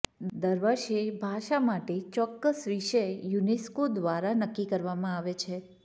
દર વર્ષે ભાષા માટે ચોક્કસ વિષય યુનેસ્કો દ્વારા નક્કી કરવામાં આવે છે